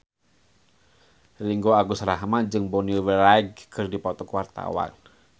Ringgo Agus Rahman jeung Bonnie Wright keur dipoto ku wartawan